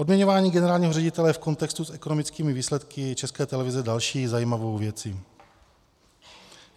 Odměňování generálního ředitele v kontextu s ekonomickými výsledky České televize je další zajímavou věcí.